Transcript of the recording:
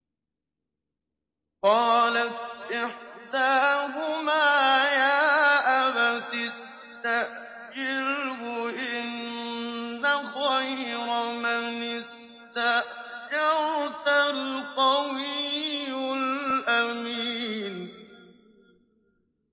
قَالَتْ إِحْدَاهُمَا يَا أَبَتِ اسْتَأْجِرْهُ ۖ إِنَّ خَيْرَ مَنِ اسْتَأْجَرْتَ الْقَوِيُّ الْأَمِينُ